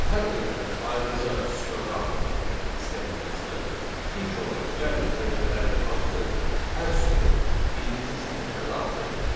Hər ölkəni ayrıca sütuna daxil etmək istədiyimizdən ilk olaraq gəlin ölkələrin adını hər sütunun birinci sətrinə daxil edək.